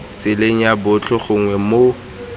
tseleng ya botlhe gongwe mo